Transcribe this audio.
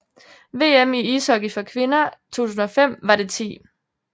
VM i ishockey for kvinder 2005 var det 10